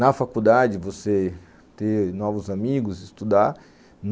Na faculdade, você ter novos amigos, estudar.